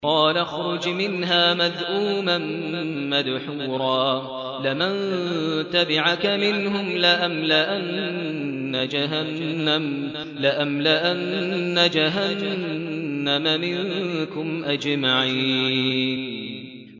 قَالَ اخْرُجْ مِنْهَا مَذْءُومًا مَّدْحُورًا ۖ لَّمَن تَبِعَكَ مِنْهُمْ لَأَمْلَأَنَّ جَهَنَّمَ مِنكُمْ أَجْمَعِينَ